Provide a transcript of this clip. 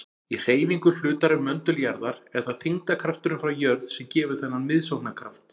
Í hreyfingu hlutar um möndul jarðar er það þyngdarkrafturinn frá jörð sem gefur þennan miðsóknarkraft.